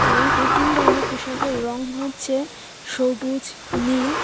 এবং এই তিন ধরনের পোশাকের রং হচ্ছে সবুজ নীল--